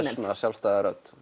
sjálfstæða rödd